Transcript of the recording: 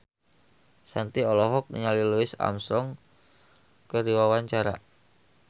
Shanti olohok ningali Louis Armstrong keur diwawancara